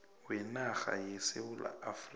wenarha yesewula afrika